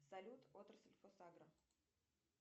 салют отрасль фосагро